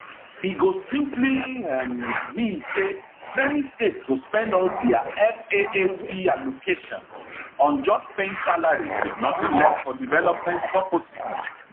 e go simply um mean say many states go spend all dia faac allocations on just paying salaries wit nothing left for development purposes